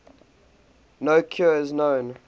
no cure is known